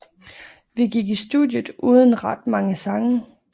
Vi gik i studiet uden ret mange sange